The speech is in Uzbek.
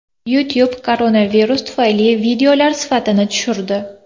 YouTube koronavirus tufayli videolar sifatini tushirdi.